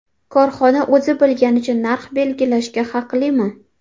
Korxona o‘zi bilganicha narx belgilashga haqlimi?